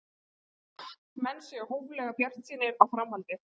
Menn séu hóflega bjartsýnir á framhaldið